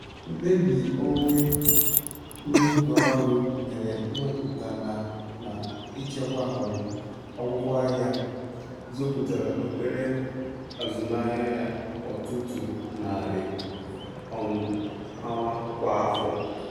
Mkpebi onye mwube ọrụ mere ịwepụta na na ịchekwa um akwụkwọ ahịa, zọpụtara obere azụmaahịa ya ọtụtụ narị um awa kwa afọ.